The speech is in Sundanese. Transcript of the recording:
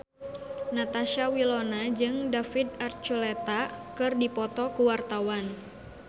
Natasha Wilona jeung David Archuletta keur dipoto ku wartawan